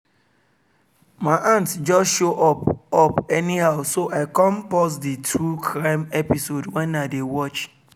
my aunt just show up up anyhow so i come pause the true crime episode wen i dey watch